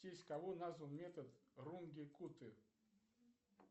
в честь кого назван метод рунге кутты